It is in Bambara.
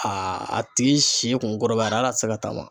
a tigi si kun kɔrɔbayara hal'a tɛ se ka taama.